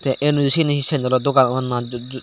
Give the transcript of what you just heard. enuju siyeni hi sendelo dogan obow na ju juh.